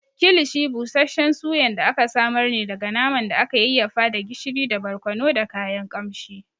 Kilishi busasshen Suyan da aka samar ne daga naman da aka yayyafa da gishiri da barkono da kayan ƙamshi.